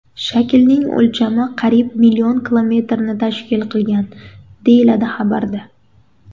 Shaklning o‘lchami qariyb million kilometrni tashkil qilgan”, deyiladi xabarda.